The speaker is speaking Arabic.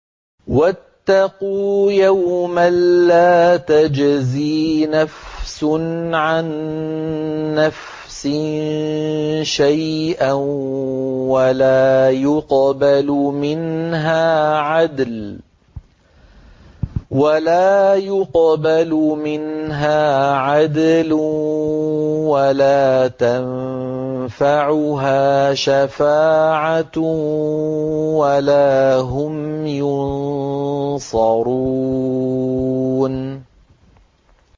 وَاتَّقُوا يَوْمًا لَّا تَجْزِي نَفْسٌ عَن نَّفْسٍ شَيْئًا وَلَا يُقْبَلُ مِنْهَا عَدْلٌ وَلَا تَنفَعُهَا شَفَاعَةٌ وَلَا هُمْ يُنصَرُونَ